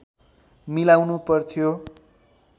मिलाउनु पर्थ्यो